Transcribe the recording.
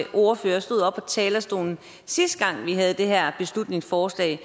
ordfører stod oppe talerstolen sidste gang vi havde det her beslutningsforslag